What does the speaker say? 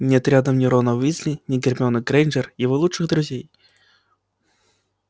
нет рядом ни рона уизли ни гермионы грэйнджер его лучших друзей